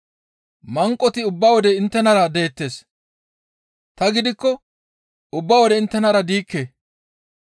Manqoti ubba wode inttenara deettes; ta gidikko ubba wode inttenara diikke.